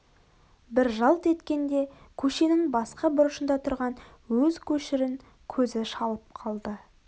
бір жалт еткенде көшенің басқа бұрышында тұрған өз көшірін көзі шалып қалды